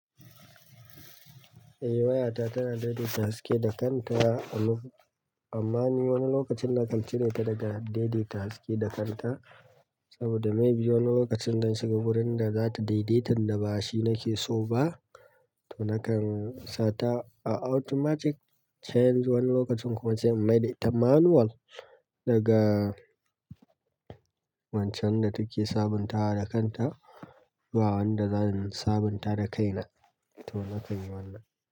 Eh wayata tana daidaita haske da kanta, amma ku amma ni wani lokacin nakan cire ta daga daidaita haske da kanta. Saboda maybe wani lokacin zan shiga wurin da za ta daidaitan da ba shi nake so ba, to nakan sa ta a automatic change wani lokacin kuma sai in maida ita manual daga wancan da take sabuntawa da kanta zuwa wanda zan sabunta da kaina. To nakan yi wannan.